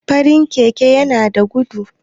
farin Keke yana da gudu